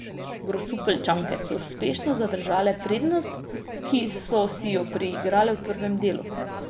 Grosupeljčanke so uspešno zadržale prednost, ki so si jo priigrale v prvem delu.